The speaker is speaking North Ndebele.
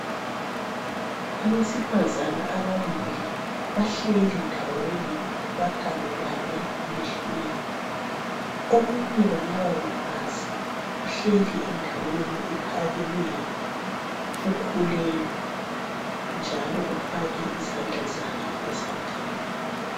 Abesifazana ababili bahleli ndawonye bakhangelane emehlweni. Omunye walaba bafazi uhleli endaweni ephakemeyo ukhulelwe njalo ufake izandla zakhe ezambeni.